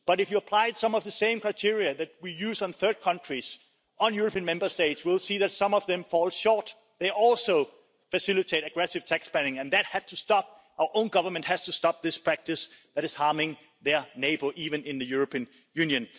But, if you applied some of the same criteria that we use on third countries on European Member States will see that some of them fall short. They also facilitate aggressive tax planning and that had to stop our own government has to stop this practice that is harming their neighbour, even in the European Union.